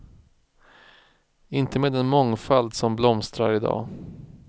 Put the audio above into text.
Inte med den mångfald som blomstrar i dag.